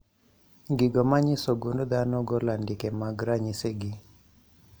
. Gigo manyiso gund dhano golo andike mag ranyisi gi